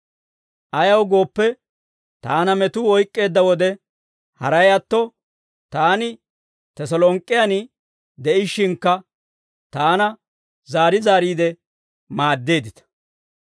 Ayaw gooppe, taana metuu oyk'k'eedda wode, haray atto taani Teselonk'k'en de'ishshinkka taana zaari zaariide maaddeeddita.